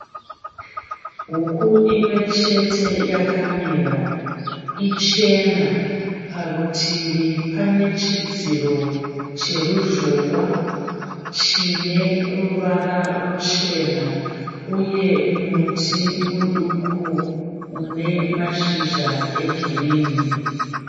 Huku imwechete yakamira, ichena. Parutivi pane chidziro cheruzhowa chineruvara ruchena, uye muti muduku unemashizha egirinhi.